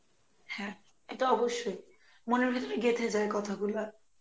হ্যাঁ, এটা অবশ্যই মনের ভিতর গেথে যায় কথাগুলা.